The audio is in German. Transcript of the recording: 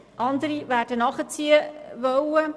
andere werden nachziehen wollen.